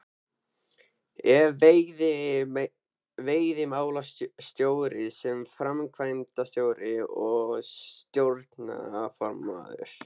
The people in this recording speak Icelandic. Ef veiðimálastjóri sem framkvæmdastjóri og stjórnarformaður